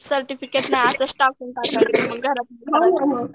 certificate नाही मग असंच टाकून टाकायचं मग घरातनं